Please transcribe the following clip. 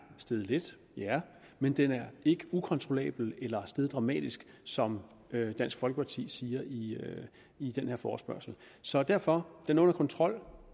steget lidt ja men den er ikke ukontrollabel eller steget dramatisk som dansk folkeparti siger i i den her forespørgsel så derfor den er under kontrol